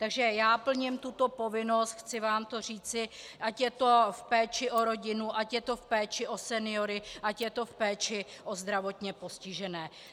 Takže já plním tuto povinnost, chci vám to říci, ať je to v péči o rodinu, ať je to v péči o seniory, ať je to v péči o zdravotně postižené.